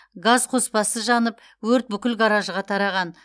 газ қоспасы жанып өрт бүкіл гаражға тараған